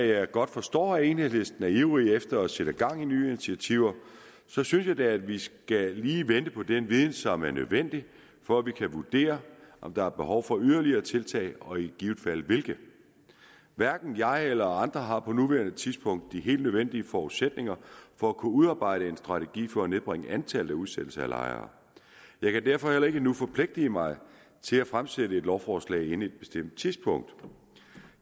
jeg godt forstår at enhedslisten er ivrige efter at sætte gang i nye initiativer synes jeg da at vi lige skal vente på den viden som er nødvendig for at vi kan vurdere om der er behov for yderligere tiltag og i givet fald hvilke hverken jeg eller andre har på nuværende tidspunkt de helt nødvendige forudsætninger for at kunne udarbejde en strategi for at nedbringe antallet af udsættelser af lejere jeg kan derfor heller ikke nu forpligte mig til at fremsætte et lovforslag inden et bestemt tidspunkt